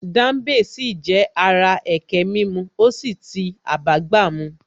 Dambe sì jẹ́ ara ẹkẹ mímu ó sì ti abágbàmu